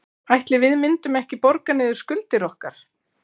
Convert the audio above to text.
Ætli við myndum ekki borga niður skuldir okkar?